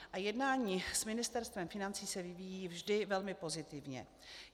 A jednání s Ministerstvem financí se vyvíjí vždy velmi pozitivně.